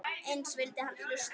Eins vildi hann hlusta.